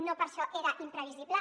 no per això era imprevisible